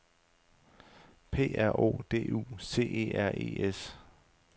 P R O D U C E R E S